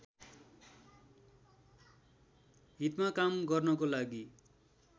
हीतमा काम गर्नको लागि